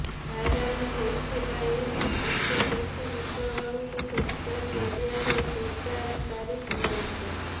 viral ହୋଇଥିବା ଏହି photo ଦେଖି ବିପ୍ଲବଙ୍କୁ ସୋସିଆଲ୍ ମିଡିଆରେ ଜୋରଦାର ତାରିଫ୍ ମିଳିଛି